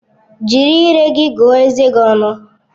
Jiri ire gị gụọ eze gi ọnụ!